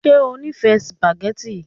Ṣe o nifẹ sùpàgẹ́tì?